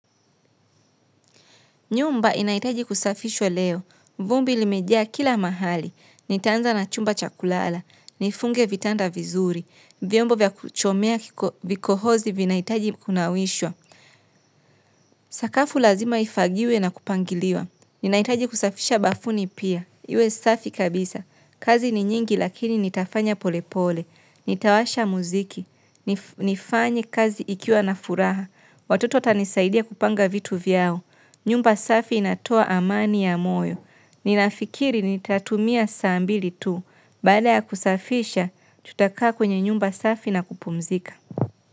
Nyumba inahitaji kusafishwa leo. Vumbi limejia kila mahali. Nitaanza na chumba chakulala. Nifunge vitanda vizuri. Vyombo vya kuchomea vikohozi vinahitaji kunawishwa. Sakafu lazima ifagiwe na kupangiliwa. Ninahitaji kusafisha bafuni pia. Iwe safi kabisa. Kazi ni nyingi lakini nitafanya polepole. Nitawasha muziki. Nifanye kazi ikiwa na furaha. Watoto watanisaidia kupanga vitu vyao. Nyumba safi inatoa amani ya moyo. Ninafikiri nitatumia saa mbili tu. Baada ya kusafisha, tutakaa kwenye nyumba safi na kupumzika.